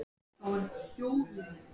Sá sem sér mann gráta á eitthvað í manni.